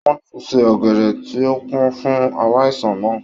Wọ́n ti se ọ̀gẹ̀dẹ̀ tí ò pọ́n fún aláìsàn náà